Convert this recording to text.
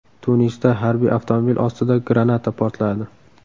Tunisda harbiy avtomobil ostida granata portladi.